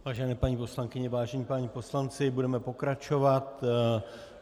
Vážené paní poslankyně, vážení páni poslanci, budeme pokračovat.